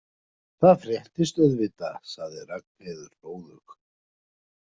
Það fréttist auðvitað, sagði Ragnheiður hróðug.